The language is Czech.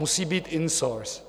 musí být in source.